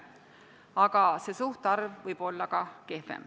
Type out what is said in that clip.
Aga see suhtarv võib olla ka kehvem.